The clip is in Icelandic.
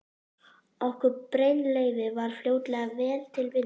Okkur Brynleifi varð fljótlega vel til vina.